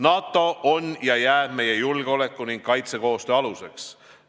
NATO on ja jääb meie julgeoleku- ning kaitsekoostöö aluseks.